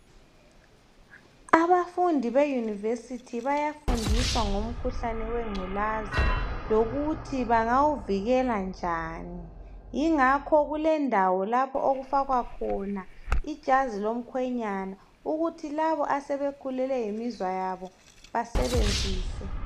Abafundi be university bayafundiswa ngomkhuhlane wengculaza lokuthi bangawuvikela njani yingakho kulendawo lapho okufakwa khona ijazi lomkhwenyana ukuthi labo asebekhulelwe yiminzwa yabo basebenzise.